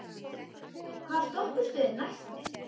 Elvis, hvaða stoppistöð er næst mér?